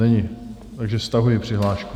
Není, takže stahuji přihlášku.